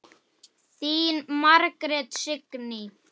Þín Margrét Signý.